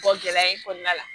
gɛlɛya in kɔnɔna la